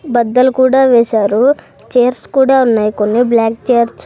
బద్దలు కూడా వేశారు చైర్స్ కూడా ఉన్నాయి కొన్ని బ్లాక్ చైర్స్ .